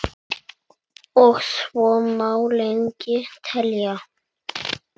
Og svo má lengi telja.